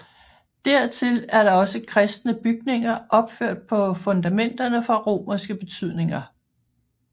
Dertil er der også kristne bygninger opført på fundamenterne fra romerske bygninger